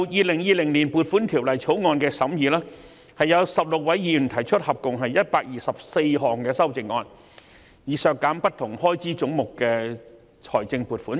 說回今年《條例草案》的審議工作，有16位議員提出合共124項修正案，以削減不同開支總目的財政撥款。